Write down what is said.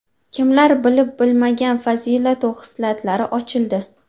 Kimlar bilib-bilmagan fazilatu xislatlari ochildi.